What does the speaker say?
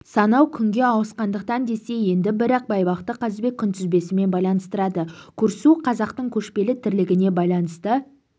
санау күнге ауысқандықтан десе енді бірі байбақты қазыбек күнтізбесімен байланыстырады көрісу қазақтың көшпелі тірлігіне байланысты